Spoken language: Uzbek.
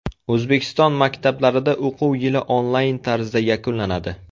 O‘zbekiston maktablarida o‘quv yili onlayn tarzda yakunlanadi .